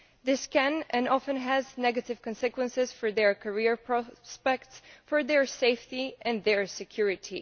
This can and often has negative consequences for their career prospects, for their safety and their security.